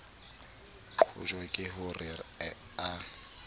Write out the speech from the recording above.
qojwa ke ho re a